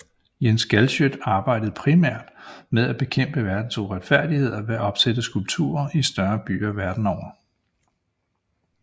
Jens Galschiøt arbejder primært med at bekæmpe verdens uretfærdigheder ved at opsætte skulpturer i større byer verden over